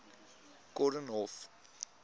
koornhof